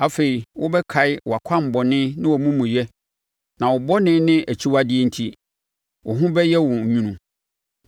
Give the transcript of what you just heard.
Afei, wobɛkae wʼakwammɔne ne wʼamumuyɛ, na wo bɔne ne akyiwadeɛ enti, wo ho bɛyɛ wo nwunu.